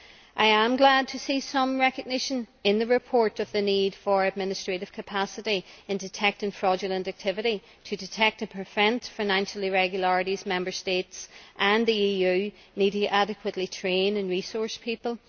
I am glad to see some recognition in the report of the need for administrative capacity in detecting fraudulent activity in order to detect and prevent financial irregularities and for the Member States and the EU to adequately train and resource people.